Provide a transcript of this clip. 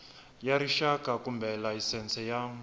ya rixaka kumbe layisense ya